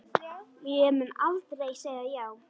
Ég mun aldrei segja já.